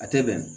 A tɛ bɛn